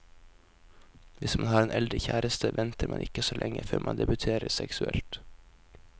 Hvis man har en eldre kjæreste, venter man ikke så lenge før man debuterer seksuelt.